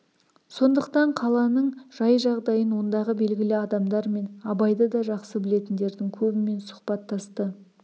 сондықтан қаланың жай-жағдайын ондағы белгілі адамдар мен абайды да жақсы білетіндердің көбімен сұхбаттасты